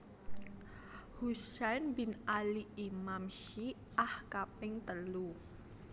Husain bin Ali Imam Syi ah kaping telu